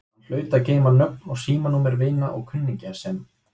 Hann hlaut að geyma nöfn og símanúmer vina og kunningja sem